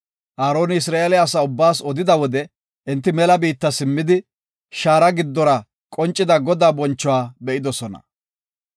Aaroni Isra7eele asaa ubbaas odida wode enti mela biitta simmidi, shaara giddora qoncida Godaa bonchuwa be7idosona.